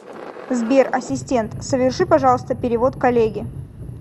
сбер ассистент соверши пожалуйста перевод коллеге